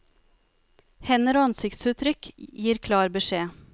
Hender og ansiktsuttrykk gir klar beskjed.